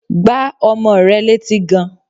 Gbá ọmọ rẹ létí gan!